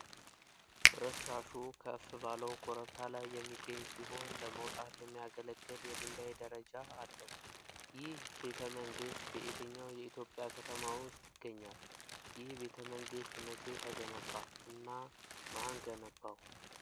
ፍርስራሹ ከፍ ባለው ኮረብታ ላይ የሚገኝ ሲሆን፤ ለመውጣት የሚያገለግል የድንጋይ ደረጃ አለው። ይህ ቤተ መንግሥት በየትኛው የኢትዮጵያ ከተማ ውስጥ ይገኛል? ይህ ቤተ መንግሥት መቼ ተገነባ እና ማን ገነባው?